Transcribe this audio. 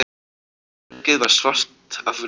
Herbergið var svart af reyk.